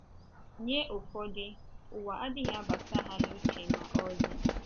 Nye ụfọdụ, ụwa adịghị abata ha n’uche ma ọlị.